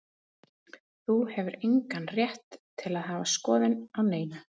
Þú hefur engan rétt til að hafa skoðun á neinu.